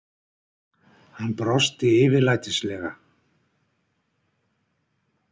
Hann brosti yfirlætislega.